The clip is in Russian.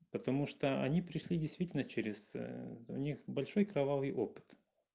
потому что они пришли действительно через у них большой кровавый опыт